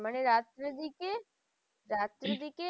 মানে রাত্রের দিকে রাত্রের দিকে